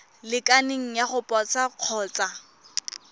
lekaneng ya go posa kgotsa